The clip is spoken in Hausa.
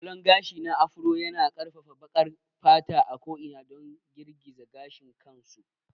Salon gashi na Afro yana ƙarfafa baƙar fata a ko'ina don girgiza gashin kansu.